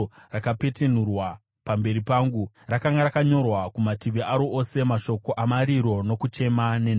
rakapetenurwa pamberi pangu. Rakanga rakanyorwa kumativi aro ose mashoko okuchema nokuungudza nenhamo.